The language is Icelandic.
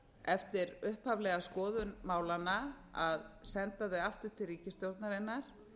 eftir upphaflega skoðun málanna að senda þau aftur til ríkisstjórnarinnar